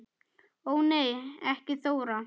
Ó nei ekki Þóra